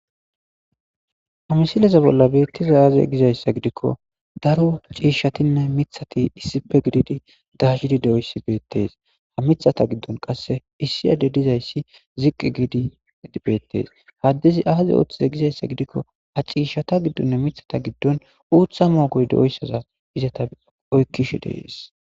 Ha missileza bolan betizay aze gizaysa gidiko daro c'ishatinne mithati issipe gididi dayidi de'iyaysi betes mithata gidon qase issi adey dizaysi ziqi gidi betes ha adezi aza otize gizaysa gidiko ha c'ishata gidon mithata gidon utha mogoy de'iyaysaza izata oykishe de'es.